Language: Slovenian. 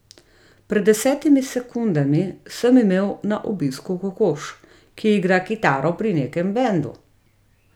Pred desetimi sekundami sem imel na obisku kokoš, ki igra kitaro pri nekem bendu.